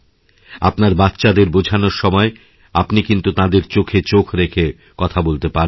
আপনার বাচ্চাদের বোঝানোর সময় আপনি কিন্তুতাঁদের চোখে চোখ রেখে কথা বলতে পারবেন না